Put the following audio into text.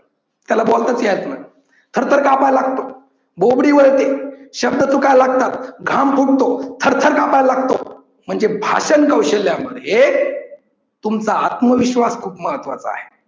त्याला बोलताच यायचं नाही. थरथर कापायला लागतो, बोबडी वळते, शब्द चुकायला लागतात, घाम फुटतो, थर थर कापायला लागतो. म्हणजे भाषण कौशल्या मध्ये तुमचा आत्मविश्वास खूप महत्वाचा आहे.